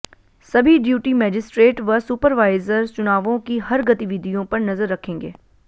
सभी duty magistrate व supervisor चुनावों की हर गतिविधियों पर नजर रखेंगे